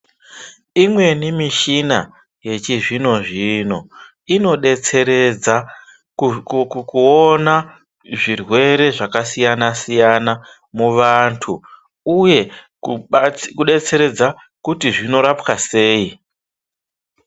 Imweni mishina yechizvino zvino inodetseredza kukuku kuona zvirwere zvakasiyana siyana muantu uye kukwa tsi kudetseredza kuti zvinorapwa sei.